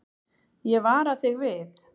Ég vara þig við.